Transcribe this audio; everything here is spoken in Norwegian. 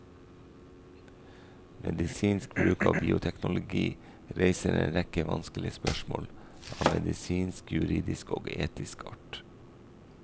Medisinsk bruk av bioteknologi reiser en rekke vanskelige spørsmål av medisinsk, juridisk og etisk art.